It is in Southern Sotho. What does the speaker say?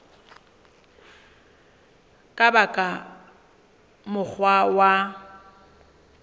ka ba ka mokgwa wa